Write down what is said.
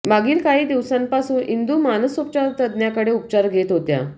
मागील काही दिवसांपासून इंदू मानसोपचारतज्ञाकडे उपचार घेत होत्या